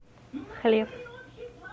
хлеб